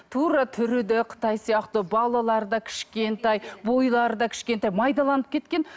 тура түрі де қытай сияқты балалары да кішкентай бойлары да кішкентай майдаланып кеткен